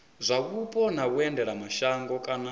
zwa mupo na vhuendelamashango kana